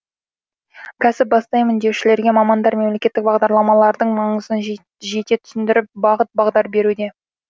кәсіп бастаймын деушілерге мамандар мемлекеттік бағдарламалардың маңызын жете түсіндіріп бағыт бағдар беруде